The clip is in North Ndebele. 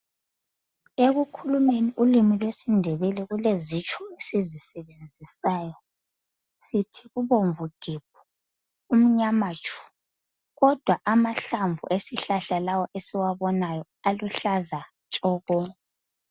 Ekukhulumeni ulimi lwesindebele kulezitsho esizisebenzisayo sithi ubomvu gebhu, umnyama tshu kodwa amahlamvu esihlahla lawa esiwabonayo aluhlaza tshoko.